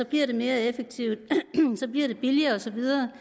bliver det mere effektivt billigere og så videre